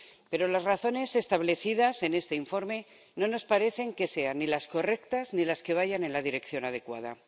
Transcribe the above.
Pero las razones establecidas en este informe no nos parece que sean ni las correctas ni las que vayan en la dirección adecuada.